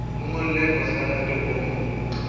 mo ngolle posekarete o mo